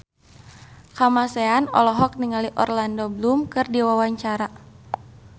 Kamasean olohok ningali Orlando Bloom keur diwawancara